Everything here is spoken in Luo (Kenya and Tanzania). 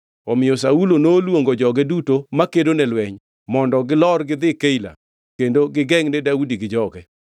Omiyo Saulo noluongo joge duto makedo ne lweny, mondo gilor gidhi Keila kendo gigengʼ ne Daudi gi joge.